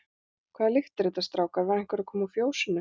Hvaða lykt er þetta, strákar, var einhver að koma úr fjósinu?